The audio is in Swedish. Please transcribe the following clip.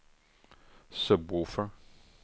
sub-woofer